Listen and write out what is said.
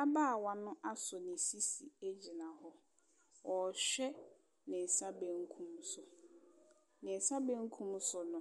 Ababaawa no asɔ ne sisi egyina hɔ. Ɔhwɛ ne nsa benkum so. Ne nsa benkum so no,